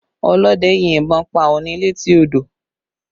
Ọlọ́dẹ yin ìbọn pa ọ̀ọ̀ni létí odò